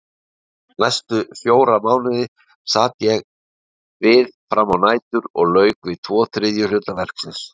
Næstu fjóra mánuði sat ég við frammá nætur og lauk við tvo þriðju hluta verksins.